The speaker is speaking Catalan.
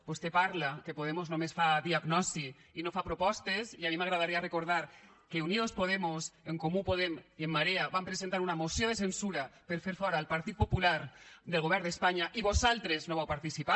vostè parla que podemos només fa diagnosi i no fa propostes i a mi m’agradaria recordar que unidos podemos en comú podem i en marea vam presentar una moció de censura per a fer fora el partit popular del govern d’espanya i vosaltres no hi vau participar